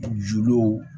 Juluw